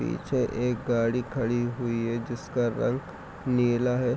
पीछे एक गाड़ी खड़ी हुई है जिसका रंग नीला है।